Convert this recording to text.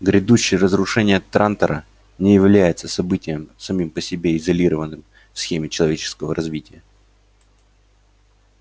грядущее разрушение трантора не является событием самим по себе изолированным в схеме человеческого развития